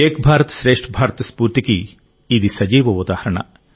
ఏక్ భారత్ శ్రేష్ఠ భారత్ స్ఫూర్తికి ఇది సజీవ ఉదాహరణ